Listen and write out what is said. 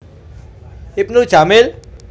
Ibnu Jamil